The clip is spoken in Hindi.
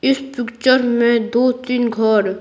इस पिक्चर में दो-तीन घर--